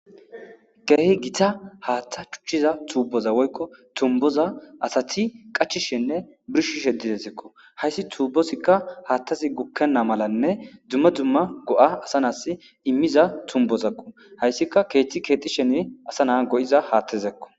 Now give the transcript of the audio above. Dere gita haatheza cutiza tuboza asati qachishinne birshishe dizaysako haysi tubozika haathazi gukena malanne duma duma go'a asa nasi imiza tumbozako. Haysika keetha keexishin asa naa go'iza haathazakko.